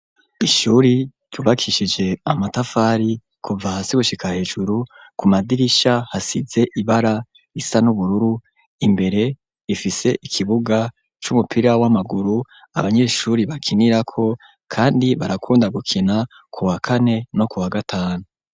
Ishuri ryubakishije amatafari, kuva hasi gushika hejuru, ku madirisha hasize ibara risa n'ubururu, imbere ifise ikibuga c'umupira w'amaguru, abanyeshuri bakinirako, kandi barakunda gukina kuwa kane no kuwa gatanu.